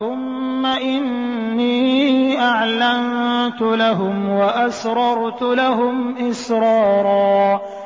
ثُمَّ إِنِّي أَعْلَنتُ لَهُمْ وَأَسْرَرْتُ لَهُمْ إِسْرَارًا